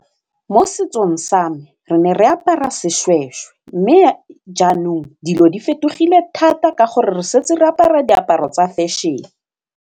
Mo setsong sa me re ne re apara seshweshwe mme jaanong dilo di fetogile thata ka gore re santse re apara diaparo tsa fashion-e.